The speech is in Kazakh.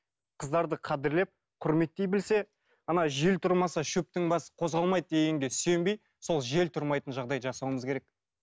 қыздарды қадірлеп құрметтей білсе ана жел тұрмаса шөптің басы қозғалмайды дегенге сүйенбей сол жел тұрмайтын жағдай жасауымыз керек